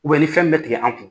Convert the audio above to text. ni fɛn min bɛ tigɛ an kun.